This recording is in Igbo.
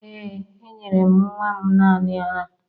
Ee, enyere m nwa m naanị ara